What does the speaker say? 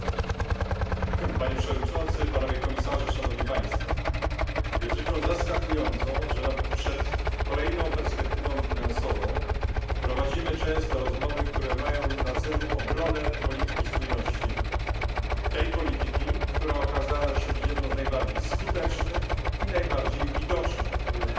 Panie przewodniczący, panowie komisarze! Jest rzeczą zaskakującą, że przed kolejną perspektywą finansową prowadzimy często rozmowy, które mają na celu obronę polityki spójności, tej polityki, która okazała się jedną z najbardziej skutecznych i najbardziej widocznych w Unii Europejskiej.